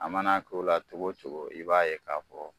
A man'a k'o la togo cogo i b'a ye k'a fɔ